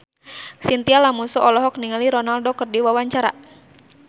Chintya Lamusu olohok ningali Ronaldo keur diwawancara